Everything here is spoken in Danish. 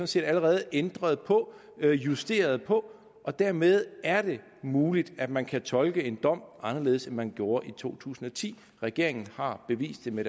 set allerede ændret på justeret på og dermed er det muligt at man kan tolke en dom anderledes end man gjorde i to tusind og ti regeringen har bevist det med